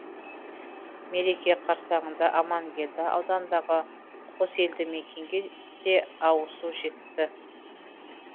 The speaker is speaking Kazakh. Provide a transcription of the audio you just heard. мереке қарссаңында аманкелді ауданындағы қос елді мекенге де ауызсу жетті